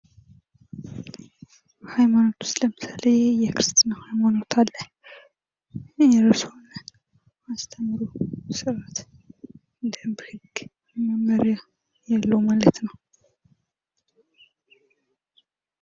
ሃይማኖት ውስጥ ለምሳሌ የክርስትና ሃይማኖት አለ በሚያስተምሩበት መሠረት መጀመሪያ ያለው ማለት ነው።